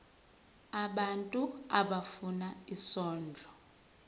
abantu abafuna isondlo